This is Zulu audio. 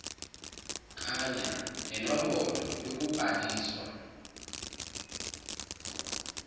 kanya nenombholo yokubhaliswa